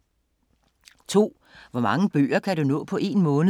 2) Hvor mange bøger kan du nå på en måned?